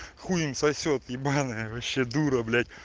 хуй он сосёт ебанная вообще дура блять